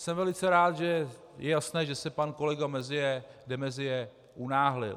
Jsem velice rád, že je jasné, že se pan kolega de Maizière unáhlil.